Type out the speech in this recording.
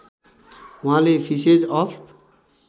उहाँले फिसेज अफ